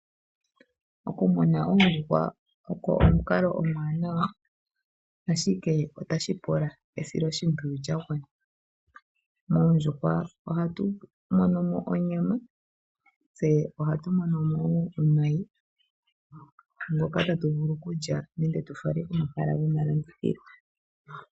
Okumuna oondjuhwa ogo omukalo omuwanawa, ashike otashi pula esiloshimpwiyu lya gwana. Koondjuhwa ohatu mono ko onyama, tse ohatu mono ko wo omayi ngoka tatu vulu okulya nenge tu fale komahala gomalandithilo.